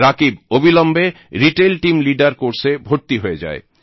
রাকীব অবিলম্বে retail team leader কোর্সে ভর্তি হয়ে যায়